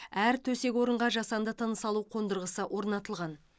әр төсек орынға жасанды тыныс алу қондырғысы орнатылған